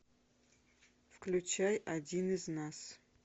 включай один из нас